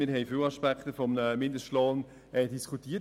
Wir haben viele Aspekte eines Mindestlohns diskutiert.